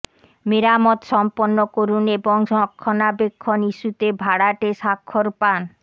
মেরামত সম্পন্ন করুন এবং রক্ষণাবেক্ষণ ইস্যুতে ভাড়াটে স্বাক্ষর পান